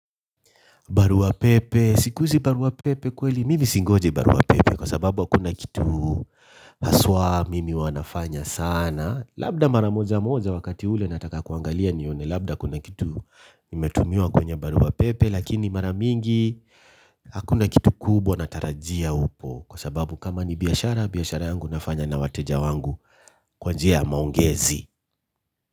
Barua pepe, sikuhizi barua pepe kweli, mimi singoji barua pepe kwasababu hakuna kitu haswa mimi huwa nafanya sana. Labda mara moja moja wakati ule nataka kuangalia nione labda kuna kitu nimetumiwa kwenye baruwa pepe. Lakini mara mingi hakuna kitu kubwa natarajia upo kwasababu kama ni biashara, biashara yangu nafanya na wateja wangu kwa njia ya maongezi.